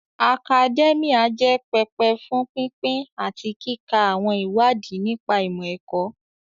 Akadẹ́míà jẹ́ pẹpẹ fún pínpín àti kíka àwọn ìwádìí nípa ìmọ̀-ẹ̀kọ́